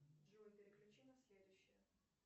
джой переключи на следующую